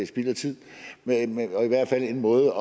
spild af tid og i hvert fald en måde